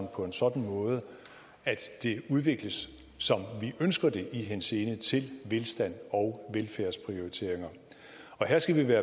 på en sådan måde at det udvikles som vi ønsker det i henseende til velstand og velfærdsprioriteringer her skal vi